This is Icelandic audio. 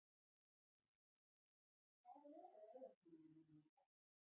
Úrsúla, hvað er á áætluninni minni í dag?